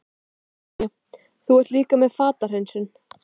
Brynja: Þú ert líka með fatahreinsun?